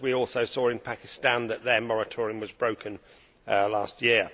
we also saw in Pakistan that their moratorium was broken last year.